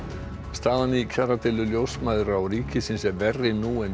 staðan í kjaradeilu ljósmæðra og ríkisins er verri nú en